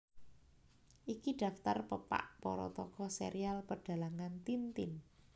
Iki daftar pepak para tokoh serial Pedhalangan Tintin